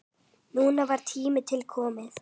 Núna var tími til kominn.